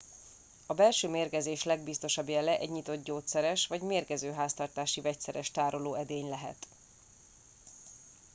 a belső mérgezés legbiztosabb jele egy nyitott gyógyszeres vagy mérgező háztartási vegyszeres tárolóedény lehet